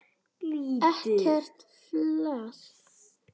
Ekkert flas!